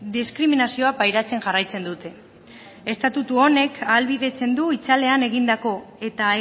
diskriminazioa pairatzen jarraitzen dute estatutu honek ahalbidetzen du itzalean egindako eta